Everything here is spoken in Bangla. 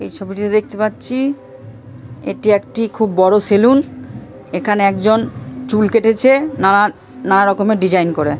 এই ছবিটিতে দেখতে পাচ্ছি-ই এটি একটি খুব বড় সেলুন এখানে একজন চুল কেটেছে নানা নানা রকমের ডিজাইন করে।